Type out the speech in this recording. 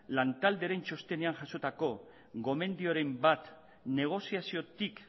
lantaldearen txostenean jasotako gomendioren bat negoziaziotik